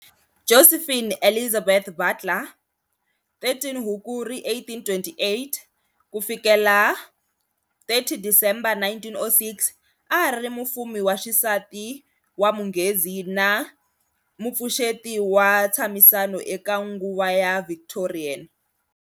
Josephine Elizabeth Butler, 13 Hukuri 1828-30 December 1906, a ari mufumi wa xisati wa Munghezi na mupfuxeti wa ntshamisano eka nguva ya Victorian.